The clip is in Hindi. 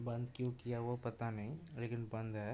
बंद क्यों किया वो पता नहीं लेकिन बंद है।